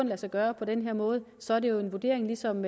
lade sig gøre på den her måde så er det jo en vurdering ligesom